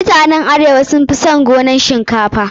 Mutanen arewa sun fi son su yi gonan shinkafa.